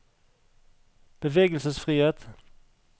bevegelsesfrihet